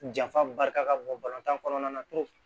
Janfa barika ka bon tan kɔnɔna na